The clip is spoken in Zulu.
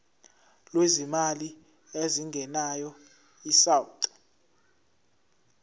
lwezimali ezingenayo isouth